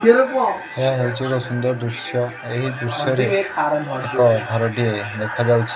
ଏହା ହେଉଚି ଏକ ସୁନ୍ଦର ଦୃଶ୍ୟ ଏହି ଦୃଶ୍ୟ ରେ ଏକ ଘରଟିଏ ଦେଖାଯାଉଛି।